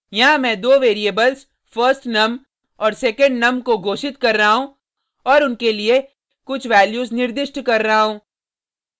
यहाँ मैं दो वेरिएबल्स firstnum और secondnum को घोषित कर रहा हूँ और उनके लिए कुछ वैल्यूज निर्दिष्ट कर रहा हूँ